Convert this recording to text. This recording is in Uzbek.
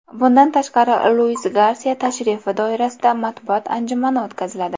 Bundan tashqari Luis Garsiya tashrifi doirasida matbuot anjumani o‘tkaziladi.